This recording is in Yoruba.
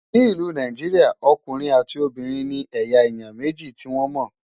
ní ìlú Nàìjíríà, ọkùnrin àti Obìnrin ní eya èyán méjì tí wọn mó